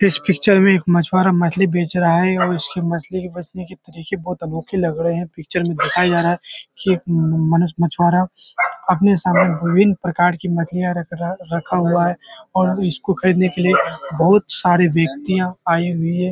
इस पिक्चर में एक मछुआरा मछली बेच रहा हैं और उसकी मछली की फसने की तरीके बहुत अनोखे लग रहें हैं। पिक्चर में दिखाया जा रहा है की मम्म मनुष्य मछुआरा अपने सामने विभिन्न प्रकार की मछलियाँ रख रा रखा हुआ है और उसको खरीदने के लिए बहुत सारे व्यक्तियाँ आये हुए हैं।